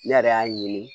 Ne yɛrɛ y'a ye